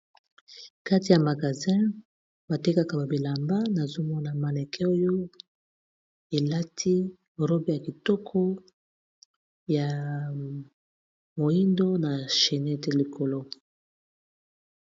Kati ya magasin batekaka babilamba nazomona maneke oyo elati robe ya kitoko ya moindo na chinete likolo.